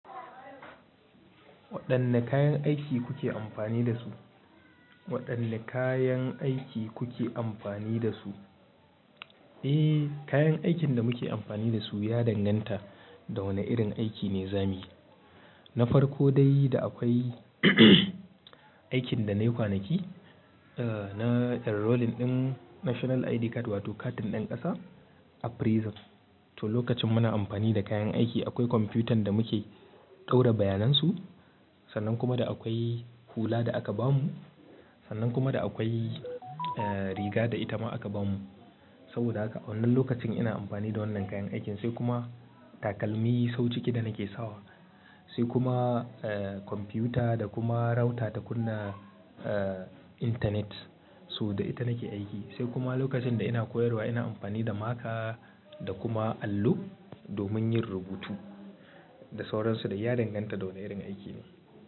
Waɗanne kayan aiki kuke amfani da su? Waɗanne kayan aiki kuke amfani da su? Eh, kayan aikin da muke amfani da su ya danganta da wane irin aiki ne zamuyi. Na farko dai da akwai aikin da nayi kwanaki, aah na enrolling ɗin National ID card wato katin ɗan ƙasa a prison. To lokacin muna amfani da kayan aiki akwai kwamfutan da muke ɗora bayanan su, sannan kuma da akwai hula da aka bamu, sannan kuma da akwai riga da ita ma aka bamu. Saboda haka a wannan lokacin ina amfani da wannan kayan aikin, sai kuma takalmi sau ciki da nake sawa, sai kuma ah kwamfuta da kuma rauta ta kunna ah intanet. So da ita nake aiki, sai kuma lokacin da ina koyarwa ina amfani da maka da kuma allo domin yin rubutu. Da sauransu de ya danganta da wane irin aiki ne.